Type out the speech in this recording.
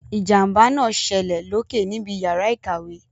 Ìjàmbá náà ṣẹlẹ̀ loke níbi yàrá ìkàwé.